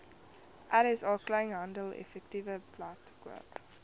rsa kleinhandeleffektewebblad koop